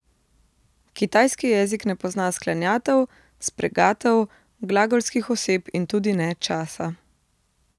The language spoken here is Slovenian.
Kitajski jezik ne pozna sklanjatev, spregatev, glagolskih oseb in tudi ne časa.